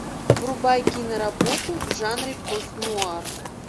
врубай киноработу в жанре пост нуар